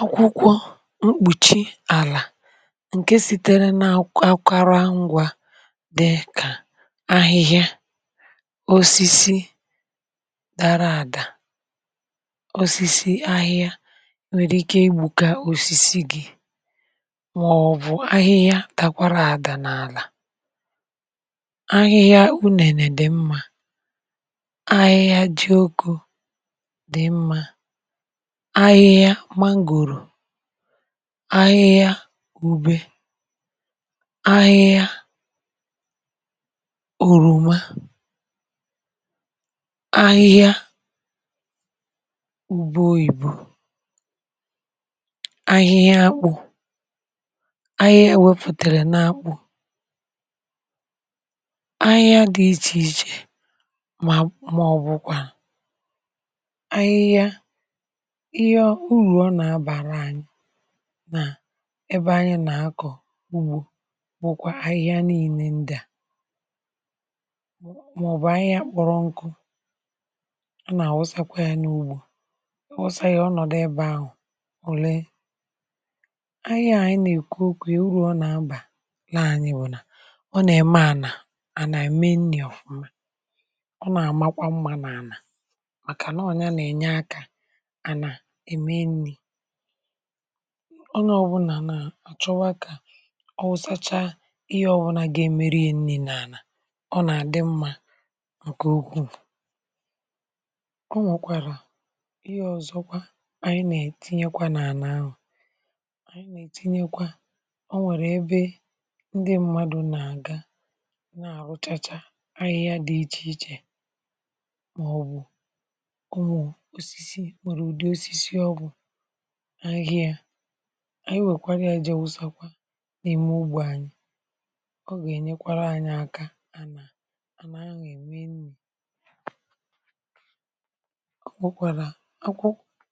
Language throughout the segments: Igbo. Akwụkwọ mkpùchi àlà ǹke sitere nà-àkwara ngwà, dị kà ahịhịa, osisi dara àdà, osisi ahịa, nwèrè ike igbùkà osisi gị, màọ̀bụ̀ ahịhịa takwara àdà n’àlà. Ahịhịa ù nènè dị̀ mmȧ ahịhịa ji oke, ahịhịa mangòrò, ahịhịa ube, ahịhịa orùmá, ahịhịa ube oyìbu, ahịhịa akpụ̇. Ahịa wepùtèrè n’akpụ ahịhịa dị iche iche, mà ọ̀bụ̀kwà urù ọ nà-abàra ànyị nà ebe ànyị nà-akọ̀ ugbȯ. Nwokwa ahịhịa niile ndị à, màọbụ̀ um ahịhịa akpọrọ nkụ, ọ nà-àwụsakwa yȧ n’ugbȯ ọ nọ̀dụ, ebe ahụ̀... Òle ahịhịa ànyị nà-èkwu okwè, urù ọ nà-abà na ànyị bụ̀ nà ọ nà-ème ànà ànà èmenli̇ ọfụma; ọ nà-àmakwa mmȧ nà ànà ànà ème nni̇. Ọ̀ nà ọbụnà nà àchọwa kà ọ wụ̀zacha ihe ọbụna gà-èmeru ye nni̇ nà àlà. Ọ nà-àdị mmȧ ǹkè ukwuù. Ọ nwọ̀kwàrà ihe ọ̀zọ, kwa ànyị nà-ètinye kwa nà ànà ahụ̀; ànyị nà-ètinye kwa. Ọ nwẹ̀rẹ̀ ẹbẹ ndị um m̀madụ̀ nà-àga, nà-àrùchàcha ahịhịa dị iche iche, nwèrè ụdị osisi ọ̇bụ̇ ahịhịa. um Ànyị nwèkwara ya jee wụsakwa nà-eme ugbȯ anyị̇. Ọ gà-ènyekwara anyị̇ aka, ànà ànà ahụ̀ ème nni̇. Ọ bụkwàrà akwụ,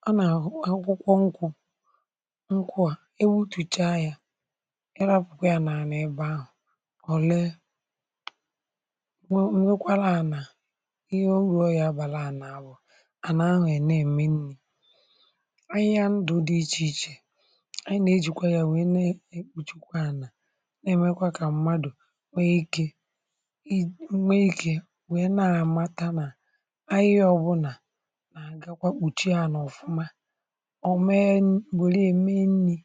ọ nà-àhụ akwụkwọ nkwụ̇, nkwụ à, ebe ụtùcha yȧ. Ị rapụ̀kwa ya nà ànà ebe ahụ̀, ọ̀ lee nwe nwekwara ànà. Ihe orùo ya bàrà ànà à bụ̀ ànyị ha, ndụ̀ dị iche iche...(pase) Ànyị nà-ejìkwa yȧ wee na-èkpuchikwa ànà, na-èmekwa kà mmadụ̀ nwee ikė, i nwee ikė, nwee na-àmata nà ànyị ọbụ̇nà nà-àgakwa kpùchie ànà ọ̀fụma. Ọ̀ mee mbòra, ème nni̇,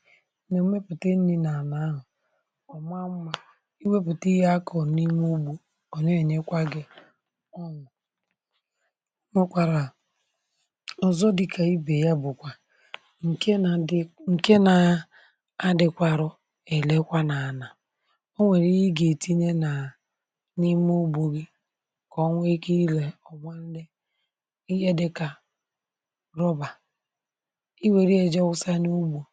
nà-èmepùte nri̇ nà ànà ahụ̀, ọ̀ mara mmȧ. I wepùte ihe a kọ̀ọ̀ n’ime ugbȯ, kọ̀ọ̀ n’enyekwa gị̇. Ọ mụkwara à ǹkẹ̀ nà adị, ǹkẹ nà adịkwȧrọ. È lekwa nà ànà, o nwèrè i gà-ètinye nà n’ime ugbȯ gị̇, kà onwe ikè ilè ọ̀ma nne.(um) Ihe dịkà rọbà i wère ẹ̀jọsa n’ugbȯ,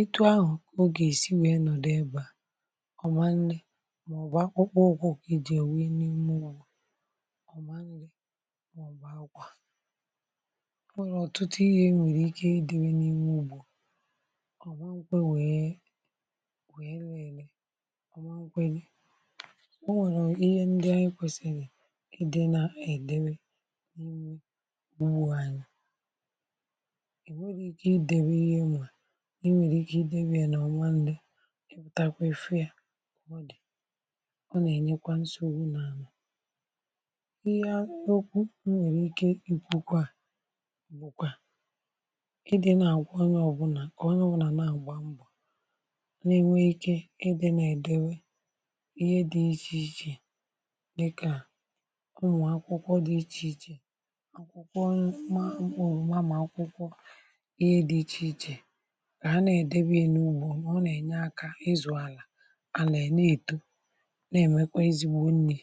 ịtụ̇ ahụ̀, ogè esi wèe nọ̀dụ ẹbẹ̀ ọ̀ma nne, màọbụ̀ akpụkpụ, ìje èwe n’ime ọ̀ma nri̇. Ọ nwẹ̀lọ̀ ọ̀tụtụ ihe nwèrè ike idẹ̇bè n’ihu; bù ọ̀ nwẹ̀mkwa wèe wèe nẹẹlẹ, ọ̀ nwẹnẹkwa ni, o nwẹ̀rẹ̀ ihe ndị ànyị kwèsìrì ị dị nà-ẹ̀dẹbẹ n’ime. um Bù ànyị ì nwẹ̀rẹ̀ ike ị dẹbè ihe nwà n’imẹ̀rẹ̀, ike ị dẹbè ẹ̀ nọ̀rọ̀ ọ̀ma. Ndị ị̀ pụtakwa èfee yȧ, ọ nà-ẹ̀nyẹkwa nsogbu n’àlà, m̀gbè ọkwụkwà ịdị nà àgwà onye ọbụnà... Ọ̀ onye ọbụnà nà-àgba mbọ̀ nà-ènwe ikė, ịdị̇ nà-èdebe ihe dị iche iche, dịkà ụmụ̀ akwụkwọ dị iche iche, akwụkwọ mà mkpọrọ ònwa, mà akwụkwọ ihe dị iche iche. Kà ha nà-èdebe ya n’ubùù, nà ọ nà-ènye akȧ ịzụ̀ àlà, a nà-ène èto, na-èmekwa ezigbo nri̇.